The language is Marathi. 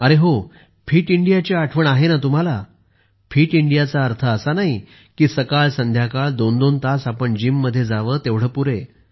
अरे हो फिट इंडिया ची आठवण आहे ना तुम्हाला फिट इंडियाचा अर्थ असा नाही की सकाळसंध्याकाळ दोन दोन तास आपण जिम मध्ये जावे तेवढे पुरे